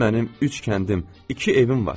Mənim üç kəndim, iki evim var.